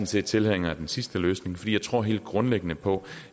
set tilhænger af den sidste løsning for jeg tror helt grundlæggende på